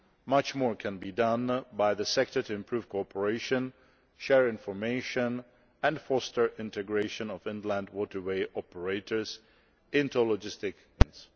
Much more can be done by the sector to improve cooperation, share information and foster integration of inland waterway operators into logistic chains.